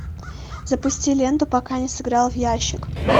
запусти ленту пока не сыграл в ящик